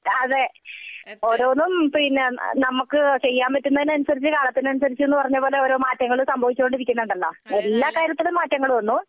അതെ ഓരോന്നും പിന്നെ നമ്മക്ക് ചെയ്യാൻ പറ്റുന്നതിനനുസരിച്ചു കാലത്തിനനുസരിച്ചു എന്ന് പറഞ്ഞതുപോലെ ഓരോ മാറ്റങ്ങൾ സംഭവിച്ചു കൊണ്ടിരിക്കുന്നുണ്ടല്ലോ എല്ലാ കാര്യത്തിലും മാറ്റങ്ങൾ വന്നു